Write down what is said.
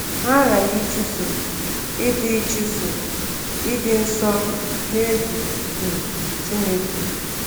Ha aghaghị ịchụso “ịdị ịchụso “ịdị nsọ n’egwu um Chineke.”